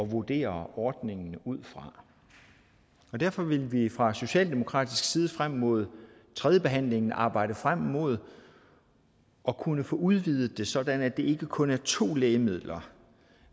vurdere ordningen ud fra derfor vil vi fra socialdemokratisk side frem mod tredjebehandlingen arbejde frem mod at kunne få det udvidet sådan at det ikke kun er to lægemidler